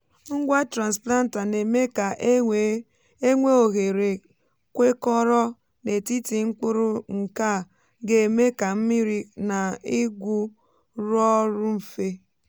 ngwa transplanter na-eme ka e nwee ohèrè kwekọrọ n’etiti mkpụrụ nkea ga èmé ka mmiri na igwụ rụọ ọrụ mfe.